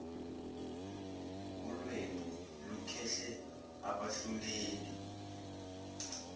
ulwembu lukhuhle abahluleli